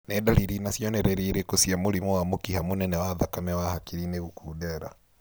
Nĩ ndariri na cionereria irĩkũ cia mũrimũ wa mũkiha mũnene wa thakame wa hakiri-inĩ gũkundera